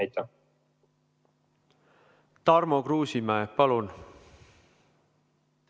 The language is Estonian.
Tarmo Kruusimäe, palun!